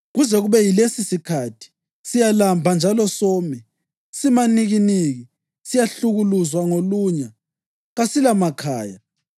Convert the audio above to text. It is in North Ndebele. Kuze kube yilesisikhathi, siyalamba njalo some, simanikiniki, siyahlukuluzwa ngolunya, kasilamakhaya.